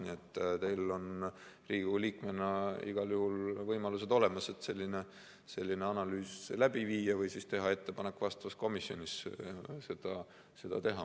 Nii et teil on Riigikogu liikmena igal juhul võimalused olemas, et selline analüüs läbi viia või teha ettepanek vastavas komisjonis seda teha.